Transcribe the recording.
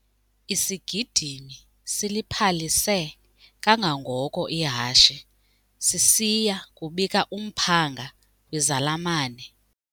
Isigidimi siliphalise kangangoko ihashe sisiya kubika umphanga kwizalamane.